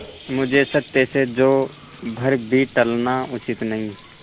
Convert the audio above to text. मुझे सत्य से जौ भर भी टलना उचित नहीं